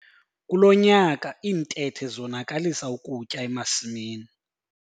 Kulo nyaka iintethe zonakalisa ukutya emasimini.